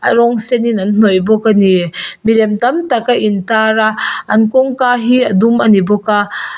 rawng sen in an hnawih bawk a ni milem tam tak a in tar a an kawng ka hi a dum a ni bawk a.